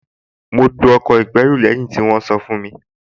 Mo lo ọkọ̀ ìgbẹ́rù lẹ́yìn tí wọ́n sọ fún mi